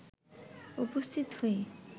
উপস্থিত হয়ে